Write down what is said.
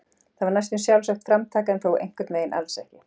Það var næstum sjálfsagt framtak en þó einhvern veginn alls ekki.